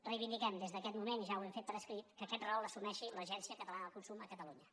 reivindiquem des d’aquest moment i ja ho hem fet per escrit que aquest rol l’assumeix l’agència catalana del consum a catalunya